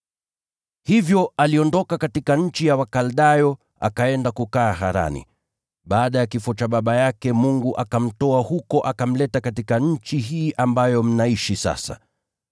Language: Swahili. “Hivyo aliondoka katika nchi ya Wakaldayo akaenda kukaa Harani. Baada ya kifo cha baba yake, Mungu akamtoa huko akamleta katika nchi hii ambayo mnaishi sasa.